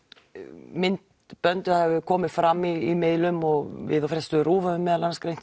myndbönd það hafa komið fram í miðlum og við á fréttastofu RÚV höfum meðal annars greint